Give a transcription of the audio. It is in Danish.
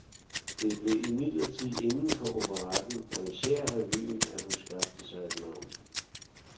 Det blev imidlertid indenfor operetten og især revyen, at hun skabte sig et navn.